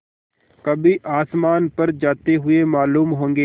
कभी आसमान पर जाते हुए मालूम होंगे